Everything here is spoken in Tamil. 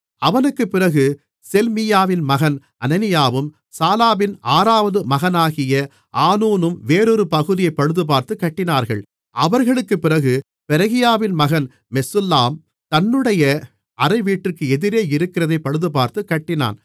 அவனுக்குப் பிறகு செல்மீயாவின் மகன் அனனியாவும் சாலாபின் ஆறாவது மகனாகிய ஆனூனும் வேறொரு பகுதியைப் பழுதுபார்த்துக் கட்டினார்கள் அவர்களுக்குப் பிறகு பெரகியாவின் மகன் மெசுல்லாம் தன்னுடைய அறைவீட்டுக்கு எதிரே இருக்கிறதைப் பழுதுபார்த்துக் கட்டினான்